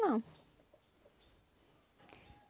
Não.